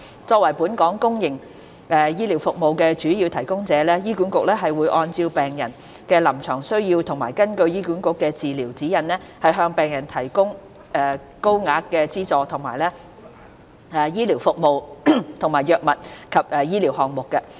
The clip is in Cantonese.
作為本港公營醫療服務的主要提供者，醫管局會按病人的臨床需要和根據醫管局的治療指引，向病人提供獲高額資助的醫療服務及藥物或醫療項目。